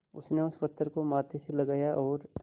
उसने उस पत्थर को माथे से लगाया और